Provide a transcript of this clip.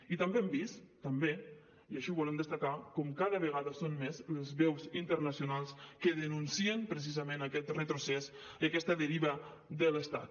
i també hem vist també i així ho volem destacar com cada vegada són més les veus internacionals que denuncien precisament aquest retrocés i aquesta deriva de l’estat